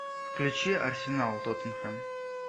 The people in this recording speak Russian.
включи арсенал тоттенхэм